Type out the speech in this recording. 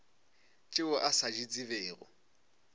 tšeo a sa di tsebego